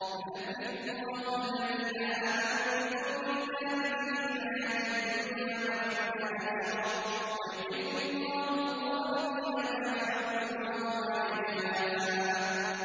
يُثَبِّتُ اللَّهُ الَّذِينَ آمَنُوا بِالْقَوْلِ الثَّابِتِ فِي الْحَيَاةِ الدُّنْيَا وَفِي الْآخِرَةِ ۖ وَيُضِلُّ اللَّهُ الظَّالِمِينَ ۚ وَيَفْعَلُ اللَّهُ مَا يَشَاءُ